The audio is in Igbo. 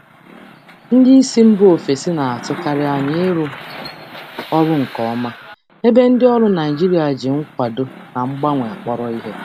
Ndị oga si mba ọzọ na-achọkarị arụmọrụ, ebe ndị ọrụ Naịjirịa na-eji mmekọrịta na mgbanwe kpọrọ ihe.